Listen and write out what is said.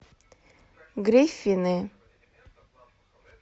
гриффины